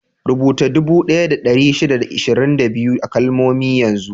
Rubuta dubu ɗaya da ɗari shida da ashirin da biyu a kalmomi yanzu!